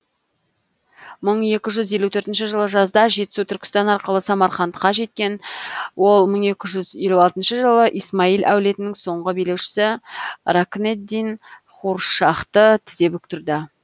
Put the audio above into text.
мың екі жүз елу төртінші жылы жазда жетісу түркістан арқылы самарқандқа жеткен ол мың екі жүз елу алтыншы жылы исмаил әулетінің соңғы билеушісі рокнеддин хуршахты тізе бүктірді